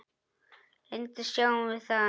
Reyndar sjáum við að